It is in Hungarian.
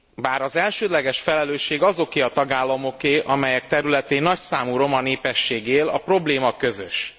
Bár az elsődleges felelősség azoké a tagállamoké, amelyek területén nagyszámú roma népesség él, a probléma közös.